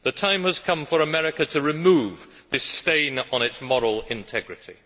The time has come for America to remove this stain on its moral integrity.